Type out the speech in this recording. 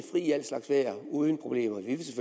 i al slags vejr uden problemer